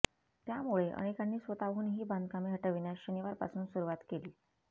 त्यामुळे अनेकांनी स्वतःहून ही बांधकामे हटविण्यास शनिवारपासून सुरूवात केली